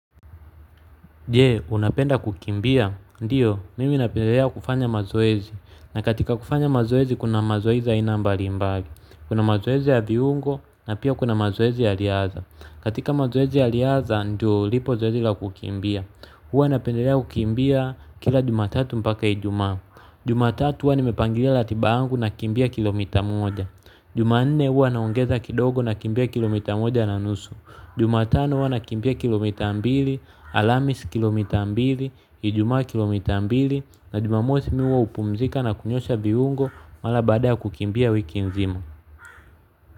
Je, unapenda kukimbia? Ndiyo, mimi napendelea kufanya mazoezi. Na katika kufanya mazoezi, kuna mazoezi aina mbalimbali. Kuna mazoezi ya viungo, na pia kuna mazoezi ya riadha. Katika mazoezi ya riadha, ndo, lipo zoezi la kukimbia. Huwa napendelea kukimbia kila jumatatu mpaka ijumaa. Jumatatu huwa nimepangilia ratiba yangu nakimbia kilomita moja. Jumanne huwa naongeza kidogo nakimbia kilomita moja na nusu. Jumatano huwa nakimbia kilomita mbili, alhamisi kilomita mbili, ijumaa kilomita mbili na jumamosi mi huwa hupumzika na kunyosha viungo mara baada ya kukimbia wiki nzima.